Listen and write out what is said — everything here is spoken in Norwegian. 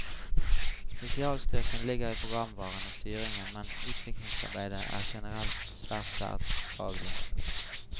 Spesialstyrken ligger i programvaren og styringen, men utviklingsarbeidet er generelt svært tverrfaglig.